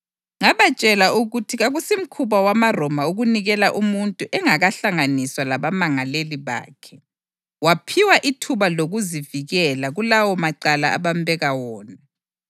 Ngabatshela ukuthi kakusimkhuba wamaRoma ukunikela umuntu engakahlanganiswa labamangaleli bakhe, waphiwa ithuba lokuzivikela kulawo macala abambeka wona.